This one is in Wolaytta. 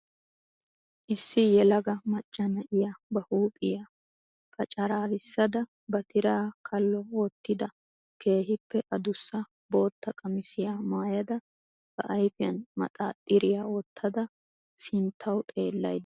Issi yelaga macca na'iya ba huuphphiya paccararisada ba tiraa kalo wottida keehiippe addussa bootta qamissiya maayaada ba ayfiyan maxaaxxiriya wottada sinttawu xeellayda dawusu.